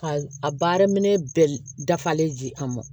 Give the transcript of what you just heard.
Ka a baara minɛn bɛɛ dafalen di an ma